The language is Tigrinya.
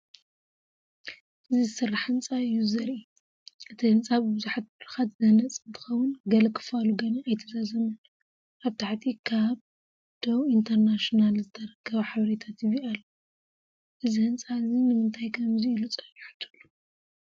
እዚ ዝስራሕ ህንጻ እዩ ዘርኢ። እቲ ህንፃ ብቡዝሓት መድረኻት ዝህነፅ እንትኸውን ገለ ክፋሉ ገና ኣይተዛዘመን። ኣብ ታሕቲ ካብ “ደው ኢንተርናኝናል” ዝተረኽበ ሓበሬታ ቲቪ ኣሎ። እዚ ህንጻ እዚ ንምንታይ ከምዚ ኢሉ ጸኒሑ ትብሉ?